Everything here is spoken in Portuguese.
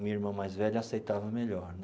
Minha irmã mais velha aceitava melhor.